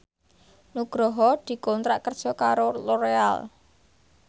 Nugroho dikontrak kerja karo Loreal